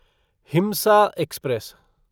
हिमसा express